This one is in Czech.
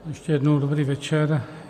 Ještě jednou dobrý večer.